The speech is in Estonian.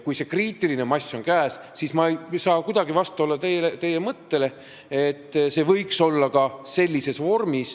Kui see kriitiline mass on käes, siis ma ei saa kuidagi vastu olla teie mõttele, et see võiks olla ka sellises vormis.